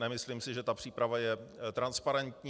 Nemyslím si, že ta příprava je transparentní.